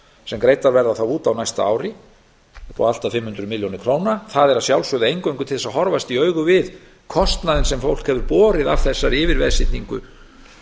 sem greiddar verða út á næsta ári upp á allt að fimm hundruð milljóna króna það er að sjálfsögðu eingöngu til þess að horfast í augu við kostnaðinn sem fólk hefur borið af þessari yfirveðsetningu